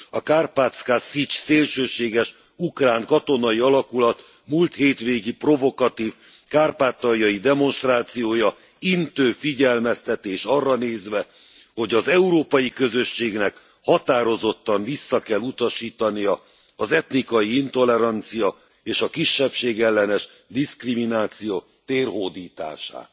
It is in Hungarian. A Karpatszka Szics szélsőséges ukrán katonai alakulat múlt hétvégi provokatív kárpátaljai demonstrációja intő figyelmeztetés arra nézve, hogy az Európai Közösségnek határozottan vissza kell utasítania az etnikai intolerancia és a kisebbségellenes diszkrimináció térhódítását.